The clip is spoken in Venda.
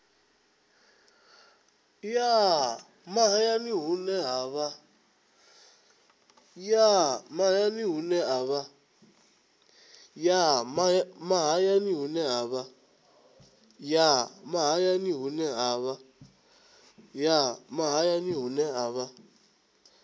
ya mahayani hune ha vha